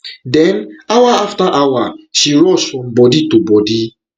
den hour afta hour she rush from body to body